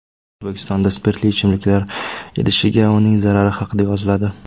O‘zbekistonda spirtli ichimliklar idishiga uning zarari haqida yoziladi .